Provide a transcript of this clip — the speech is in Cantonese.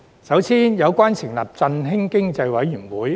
首先是有關成立振興經濟委員會。